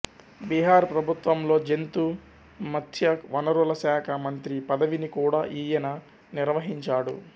బీహార్ ప్రభుత్వంలో జంతు మత్స్య వనరుల శాఖ మంత్రి పదవిని కూడా ఈయన నిర్వహించాడు